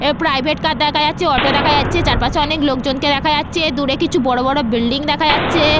এ private car দেখা যাচ্ছে auto দেখা যাচ্ছে চারপাশে অনেক লোকজনকে দেখা যাচ্ছে দূরে কিছু বড় বড় বিল্ডিং দেখা যাচ্ছে।